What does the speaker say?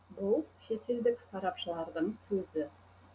бұл шетелдік сарапшылардың сөзі